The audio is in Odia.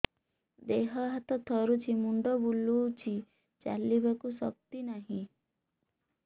ଦେହ ହାତ ଥରୁଛି ମୁଣ୍ଡ ବୁଲଉଛି ଚାଲିବାକୁ ଶକ୍ତି ନାହିଁ